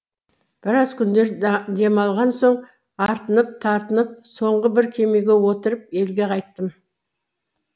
біраз күндер демалған соң артынып тартынып соңғы бір кемеге отырып елге қайттым